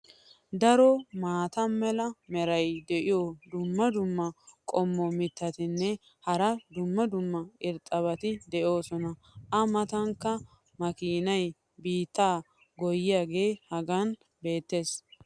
Daro maata mala meray diyo dumma dumma qommo mitattinne hara dumma dumma irxxabati de'oosona. a matankka makiinay biittaa goyiyaagee hagan beetees.